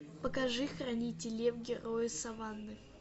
покажи хранитель лев герои саванны